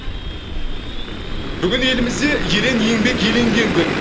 бүгін елімізде ерен еңбек еленген күн